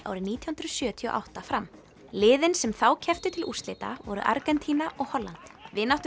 árið nítján hundruð sjötíu og átta fram liðin sem þá kepptu til úrslita voru Argentína og Holland